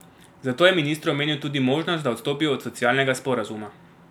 Zato je ministru omenil tudi možnost, da odstopijo od socialnega sporazuma.